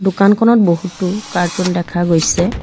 দোকানখনত বহুতো কাৰ্টুন দেখা গৈছে।